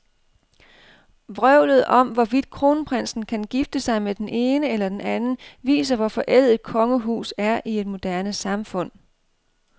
Vrøvlet om, hvorvidt kronprinsen kan gifte sig med den ene eller den anden, viser, hvor forældet et kongehus er i et moderne samfund.